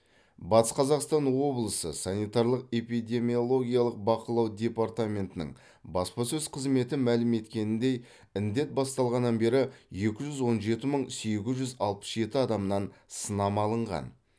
батыс қазақстан облысы санитарлық эпидемиологиялық бақылау департаментінің баспасөз қызметі мәлім еткеніндей індет басталғаннан бері екі жүз он жеті мың сегіз жүз алпыс жеті адамнан сынама алынған